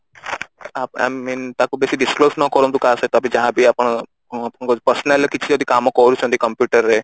a I mean ତାକୁ ବେଶୀ disclose ନ କରନ୍ତୁ କାହା ସହିତ ଯାହା ବି ଆପଣ ଆପଣଙ୍କ personal କିଛି ଯଦି କାମ ବି କରୁଛନ୍ତି computer ର